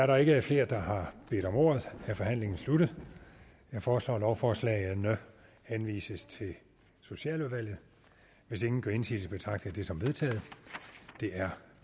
der ikke er flere der har bedt om ordet er forhandlingen sluttet jeg foreslår at lovforslagene henvises til socialudvalget hvis ingen gør indsigelse betragter jeg det som vedtaget det er